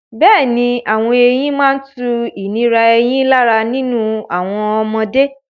Bẹ́ẹ̀ni, àwọn eyín máa ń tu ìnira eyín lára nínú àwọn ọmọdé.